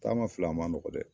Taama filɛ a man nɔgɔ dɛ.